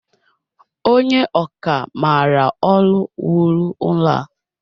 Onye ọkà maara ọlu wuru ụlọ a